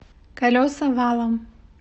колеса валом